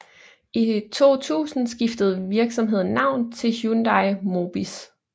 I 2000 skiftede virksomheden navn til Hyundai Mobis